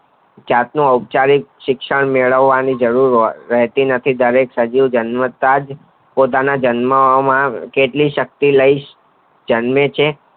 જાત નો અપચરીત શિક્ષણ મેળવા વનો જરૂર રહેતી નથી ડેરેક સજીવ જન્મતા જ પોતાના જન્મ આ કેટલીક શક્તિ લઈ જન્મે છે.